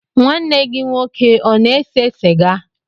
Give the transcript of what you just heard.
Nwanne gị nwoke ọ na-ese sịga?